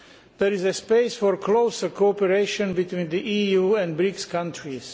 There is a space for closer cooperation between the EU and the BRICS countries.